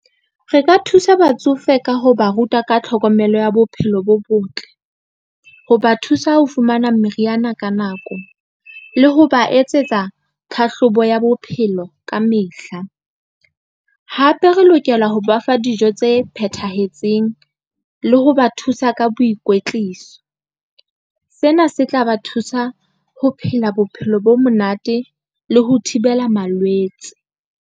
Re ka thusa batsofe ka ho ba ruta ka tlhokomelo ya bophelo bo botle, ho ba thusa ho fumana meriana ka nako le ho ba etsetsa tlhahlobo ya bophelo ka mehla. Hape re lokela ho ba fa dijo tse phethahetseng le ho ba thusa ka boikwetliso, sena se tla ba thusa ho phela bophelo bo monate le ho thibela malwetse.